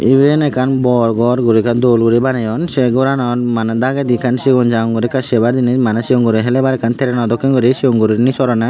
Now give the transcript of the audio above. iben ekkan bor gor guri ekkan dol guri baneyon se goranan maneh dagedi ekkan sigon sagon guri ekka sebar jinis maneh sigon guro helebar ekkan treno dokken guri sigon gurinei sorana.